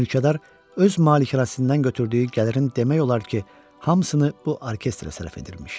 Mülkədar öz malikanəsindən götürdüyü gəlirin demək olar ki, hamısını bu orkestrə sərf edirmiş.